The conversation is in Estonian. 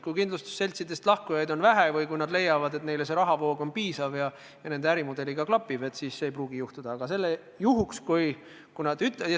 Kui kindlustusseltsidest lahkujaid on vähe või kui seltsid leiavad, et nende jaoks on rahavoog piisav ja see klapib nende ärimudeliga, siis ei pruugi seda juhtuda.